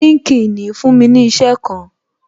LinkedIn fún mi ní isẹ kan